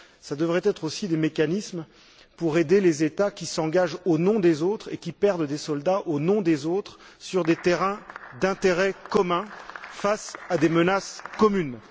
Ce devrait être aussi des mécanismes pour aider les États qui s'engagent au nom des autres et qui perdent des soldats au nom des autres sur des terrains d'intérêt commun, face à des menaces communes.